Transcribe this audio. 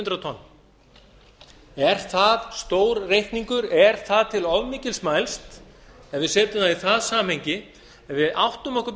hundrað tonn er það stór reikningur er það til of mikils mælst ef við setjum það í það samhengi ef við áttum okkur